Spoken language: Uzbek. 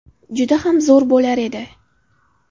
Juda ham zo‘r bo‘lar edi.